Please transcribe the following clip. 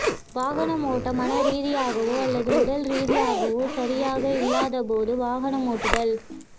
வாகனம் ஓட்ட மனரீதியாகவோ அல்லது உடல் ரீதியாகவோ சரியாக இல்லாதபோது வாகனம் ஓட்டுதல்